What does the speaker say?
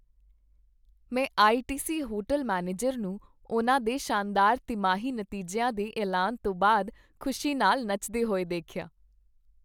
ਮੈਂ ITC. Hotel manager ਨੂੰ ਉਨ੍ਹਾਂ ਦੇ ਸ਼ਾਨਦਾਰ ਤਿਮਾਹੀ ਨਤੀਜਿਆਂ ਦੇ ਐਲਾਨ ਤੋਂ ਬਾਅਦ ਖੁਸ਼ੀ ਨਾਲ ਨੱਚਦੇ ਹੋਏ ਦੇਖਿਆ।